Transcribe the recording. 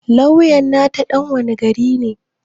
Lawyan nata ɗan wane gari ne